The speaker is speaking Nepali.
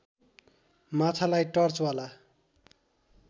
माछालाई टर्चवाला